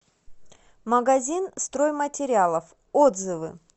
магазин стройматериалов отзывы